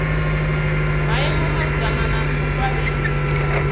maimo malugana na u fariwa